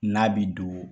N'a bi don